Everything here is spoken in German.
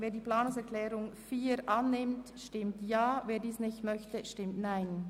Wer diese annehmen will, stimmt Ja, wer diese ablehnt, stimmt Nein.